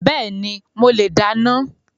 Bẹ́ẹ̀ni, mo le dáná